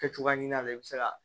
Kɛ cogoya ɲin'a la i bɛ se ka